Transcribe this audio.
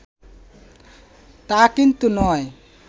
তা কিন্তু নয়